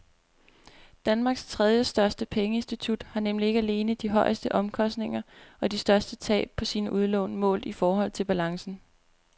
Danmarks tredjestørste pengeinstitut har nemlig ikke alene de højeste omkostninger og de største tab på sine udlån målt i forhold til balancen.